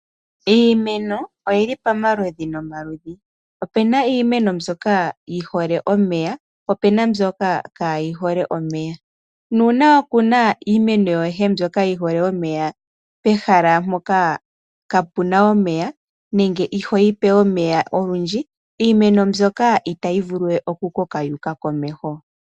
Iimeno oyili pamaludhi nomaludhi, opena iimeno mbyoka yihole omeya po opena mbyoka kaayihole omeya, nuuna wakuna iimeno yoye mbyoka yihole omeya pehala mpoka kaapuna omeya nenge ihooyipe omeya olundji, iimeno ndjoka itayi vuluwe okukoka yuuka komeho.